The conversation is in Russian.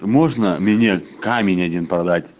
можно меня камень один продать